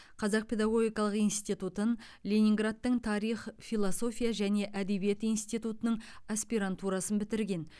қазақ педагогикалық институтын ленинградтың тарих философия және әдебиет институтының аспирантурасын бітірген